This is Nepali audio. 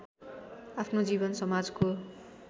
आफ्नो जीवन समाजको